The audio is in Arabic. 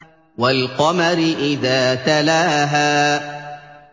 وَالْقَمَرِ إِذَا تَلَاهَا